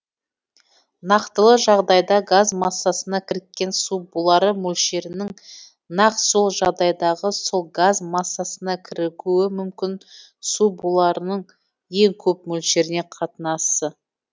нақтылы жағдайдағы газ массасына кіріккен су булары мөлшерінің нақ сол жағдайдағы сол газ массасына кірігуі мүмкін су буларының ең көп мөлшеріне қатынасы